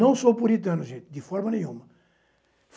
Não sou puritano, gente, de forma nenhuma.